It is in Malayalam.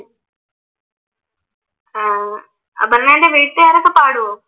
അഹ് അപർണ്ണെട വീട്ടുകാരൊക്കെ പാടുവോ?